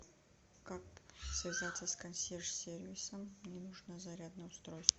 как связаться с консьерж сервисом мне нужно зарядное устройство